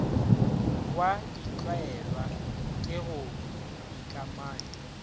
wa ditlwaelwa ke go ikamanya